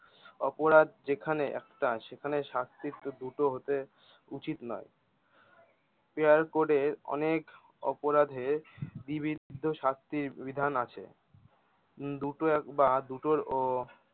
অপরাধ যেখানে একটা সেখানে শাস্তি দুটো হতে উচিত নয় অনেক অপরাধের শাস্তির বিধান আছে দুটো একবার দুটোর ও